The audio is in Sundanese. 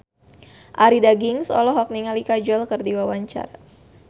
Arie Daginks olohok ningali Kajol keur diwawancara